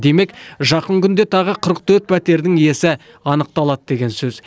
демек жақын күнде тағы қырық төрт пәтердің иесі анықталады деген сөз